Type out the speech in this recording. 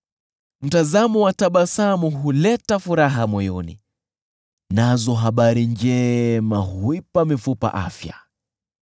Mtazamo wa tabasamu huleta furaha moyoni, nazo habari njema huipa mifupa afya.